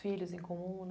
Filhos em comum, né?